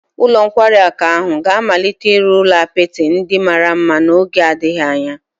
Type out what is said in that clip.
Ụlọ nkwari akụ ahụ ga-amalite ịrụ ụlọ apịtị ndị mara mma n'oge adịghị anya